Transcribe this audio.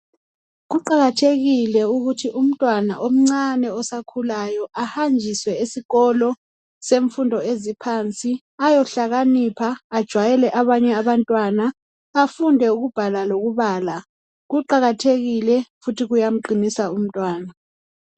Kuqakathekile ukuthi umntwana omncane osakhulayo ahanjiswe esikolo semfundo eziphansi ayohlakanipha ajwayele abanye abantwana ,afunde ukubhala lokubala , kuqakathekile futhi kuyamqinisa umntwana